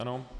Ano.